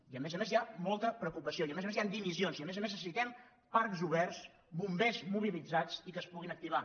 i a més a més hi ha molta preocupació i a més a més hi ha dimissions i a més a més necessitem parcs oberts bombers mobilitzats i que es puguin activar